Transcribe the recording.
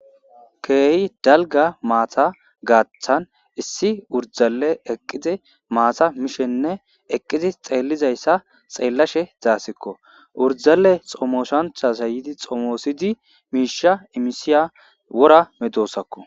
Keeyi dalga maata gaaththan issi urdale eqqizi maata mishenne eqqizi xeellizayssa xeellashe zaasikko urdale xomoshancha sayidi xomoosidi miisha imisiya wora medosakko.